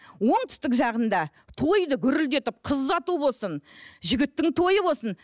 оңтүстік жағында тойды гүрілдетіп қыз ұзату болсын жігіттің тойы болсын